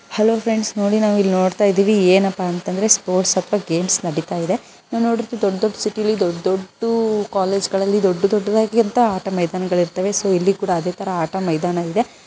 hello friends ನಾವಿಲ್ಲಿ ನೋಡ್ತಾ ಇದೀವಿ ಏನಪ್ಪಾ ಅಂದ್ರೆ ಸ್ವಲ್ಪ ಗೇಮ್ ಕಳಿತ ಇದೆ ನಾವು ನೋಡೋದು ಸ್ವಲ್ಪ ಸಿಟಿಯಲ್ಲಿ ದೊಡ್ಡೋಡು ಆಟ ಮೈದಾನಗಳು ಇರುತ್ತದೆ ಇಲ್ಲೂ ಕೂಡ ಸಹ ನಾವು ದೊಡ್ಡದ ಮೈದಾನ ನೋಡ್ತಾ ಇದ್ದೀವಿ